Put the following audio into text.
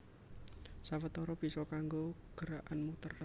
Sawetara bisa kanggo gerakan muter